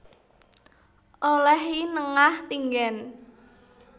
Oleh I Nengah Tinggen